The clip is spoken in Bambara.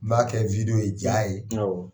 N b'a kɛ wideyo ye, ja ye, , awɔ.